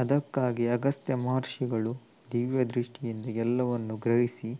ಅದಕ್ಕಾಗಿ ಅಗಸ್ತ್ಯ ಮಹರ್ಷಿಗಳು ದಿವ್ಯ ದೃಷ್ಠಿಯಿಂದ ಎಲ್ಲವನ್ನೂ ಗ್ರಹಿಸಿ